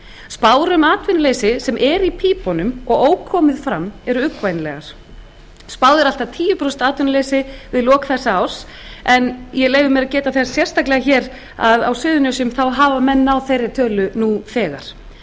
spár um atvinnuleysi sem er í pípunum og er ókomið fram eru uggvænlegar spáð er allt að tíu prósent atvinnuleysi í lok þessa árs en ég leyfi mér að geta þess sérstaklega að á suðurnesjum hafa menn náð þeirri tölu nú þegar